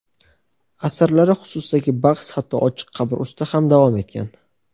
Asarlari xususidagi bahs hatto ochiq qabr ustida ham davom etgan.